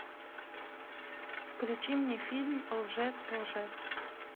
включи мне фильм лжец лжец